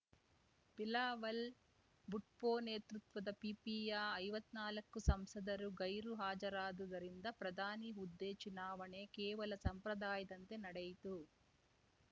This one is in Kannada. ಬಿಲಾವಲ್‌ ಭುಟ್ಪೋ ನೇತೃತ್ವದ ಪಿಪಿಯ ಐವತ್ನಾಲ್ಕು ಸಂಸದರು ಗೈರು ಹಾಜರಾದುದರಿಂದ ಪ್ರಧಾನಿ ಹುದ್ದೆ ಚುನಾವಣೆ ಕೇವಲ ಸಂಪ್ರದಾಯದಂತೆ ನಡೆಯಿತು